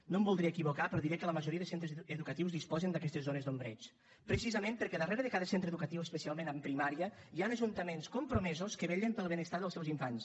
no em voldria equivocar però diré que la majoria de centres educatius disposen d’aquestes zones d’ombreig precisament perquè darrere de cada centre educatiu especialment en primària hi han ajuntaments compromesos que vetllen pel benestar dels seus infants